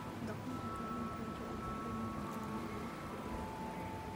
Dhaqanka kalluunku wuxuu u baahan yahay horumar wakhti dheer ah.